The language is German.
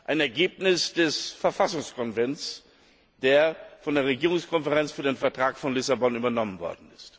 ein Ergebnis des Verfassungskonvents, das von der Regierungskonferenz für den Vertrag von Lissabon übernommen wurde.